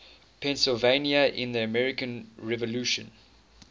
pennsylvania in the american revolution